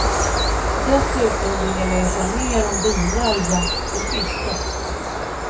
Dessutom vill jag läsa mer om bilar, jakt och fiske.